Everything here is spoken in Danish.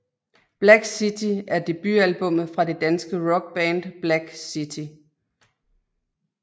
Black City er debutalbummet fra det danske rockband Black City